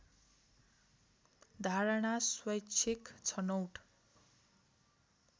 धारणा स्वैच्छिक छनौट